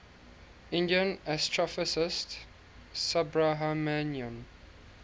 indian astrophysicist subrahmanyan